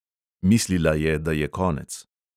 Mislila je, da je konec.